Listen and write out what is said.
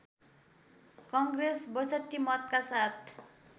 कङ्ग्रेस ६२ मतका साथ